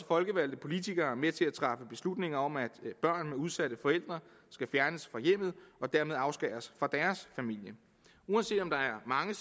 folkevalgte politikere også med til at træffe beslutninger om at børn med udsatte forældre skal fjernes fra hjemmet og dermed afskæres fra deres familie uanset om der er mange